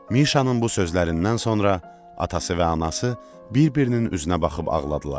Mişanın bu sözlərindən sonra atası və anası bir-birinin üzünə baxıb ağladılar.